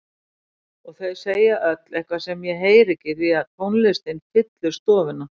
Og þau segja öll eitthvað sem ég heyri ekki því tónlistin fyllir stofuna.